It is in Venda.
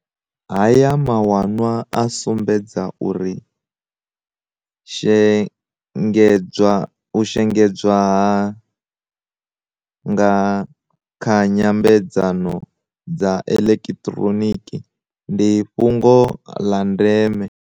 Haya mawanwa a sumbedza uri u shengedzwa nga kha nyambedzano dza eḓekiḓhironiki ndi fhungo ḓa ndeme.